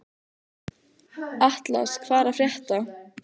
Atlas, hvað er að frétta?